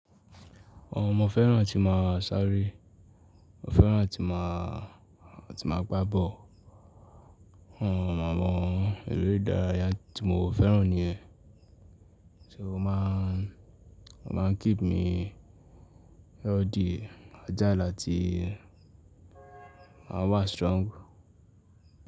Ọmo mọ fẹ́ràn tí máa sáré, ó fẹ́ràn tí máa, tí máa gbá ball Awon màmáwọn eléré ìdárayá tí mo fẹ́ràn niyen So máa, máa keep me healthy, ajá láti ma wa strong.